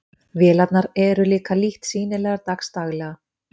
Vélarnar eru líka lítt sýnilegar dags daglega.